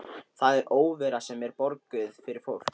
Það er óvera sem er borguð fyrir fólk.